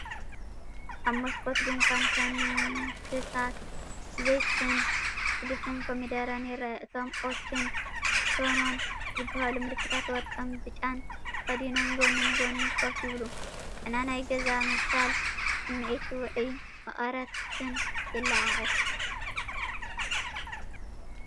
ኣብ መስኮት ድኳን ታንክታት ዘይትን ልስሉስ ኮሚደረን ይርአ። እቶም “ኦቸ”ን “ሸኖ”ን ዝበሃሉ ምልክታት ወርቅን ብጫን ተኸዲኖም ጎኒ ንጎኒ ኮፍ ይብሉ፤ ጨና ናይ ገዛ ምብሳል ስምዒት ውዑይን መቐረትን የለዓዕል።